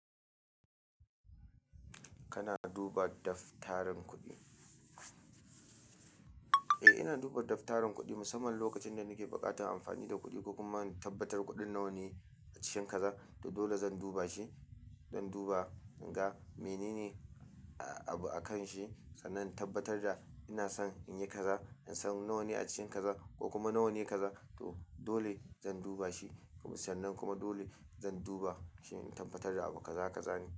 Kana duba daftarin kuɗi? Eh, ina duba daftarin kuɗi musamman lokacin da nake buƙatar amfani da kuɗi ko kuma in tabbatar kuɗin nawa ne a cikin kaza. To dole zan duba shi, zan duba in ga menene abu a kan shi sannan in tabbatar da ina son in yi kaza, ina san nawa ne a cikin kaza ko kuma nawa ne kaza. To dole zan duba shi sannan kuma dole zan duba shi in tabbatar da abu kaza kaza ne.